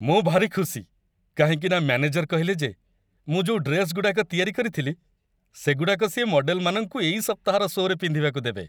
ମୁଁ ଭାରି ଖୁସି, କାହିଁକିନା ମ୍ୟାନେଜର କହିଲେ ଯେ ମୁଁ ଯୋଉ ଡ୍ରେସ୍‌ଗୁଡ଼ାକ ତିଆରି କରିଥିଲି, ସେଗୁଡ଼ାକ ସିଏ ମଡ଼େଲମାନଙ୍କୁ ଏଇ ସପ୍ତାହର ଶୋ'ରେ ପିନ୍ଧିବାକୁ ଦେବେ ।